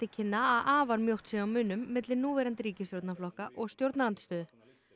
kynna að afar mjótt sé á munum milli núverandi ríkisstjórnarflokka og stjórnarandstöðu